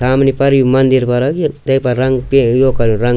सामणी फर यू मन्दिर फर तेपर रंग पी यो कर्युं रंग।